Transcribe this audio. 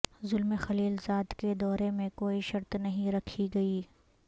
Zalmay Khalilzad کے دورے میں کوئی شرط نہیں رکھی گئی